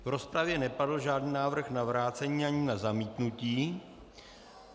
V rozpravě nepadl žádný návrh na vrácení ani na zamítnutí.